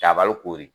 Jabali koori